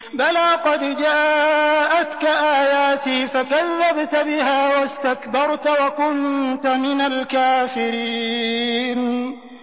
بَلَىٰ قَدْ جَاءَتْكَ آيَاتِي فَكَذَّبْتَ بِهَا وَاسْتَكْبَرْتَ وَكُنتَ مِنَ الْكَافِرِينَ